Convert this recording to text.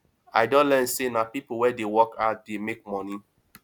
i don learn sey na pipo wey dey work hard dey make moni